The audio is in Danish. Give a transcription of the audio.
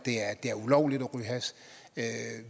det er ulovligt at